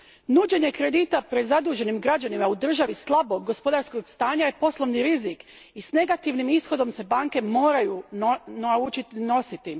Nuđenje kredita prezaduženim građanima u državi slabog gospodarskog stanja je poslovni rizik i s negativnim se ishodom banke moraju naučiti nositi.